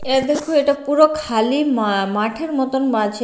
এদেখো এটা পুরো খালি মা মাঠের মতন মাঝের--